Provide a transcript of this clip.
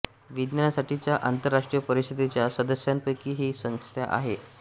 विज्ञानासाठीच्या आंतरराष्ट्रीय परिषदेच्या सदस्यांपैकी ही संस्था एक आहे